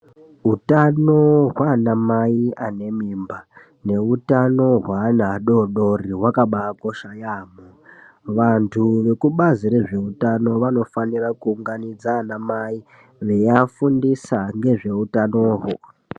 Utano hwaanamai anemimba neutano hweana adoodori hwakabaakosha yaamho. Vantu vekubazi rezveutano vanofanira kuunganidza vanamai veiafundisa nezveutanihwo.